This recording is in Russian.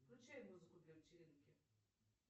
включай музыку для вечеринки